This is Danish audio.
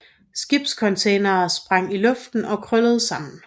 Skibscontainere sprang i luften og krøllede sammen